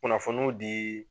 Kunnafoniw di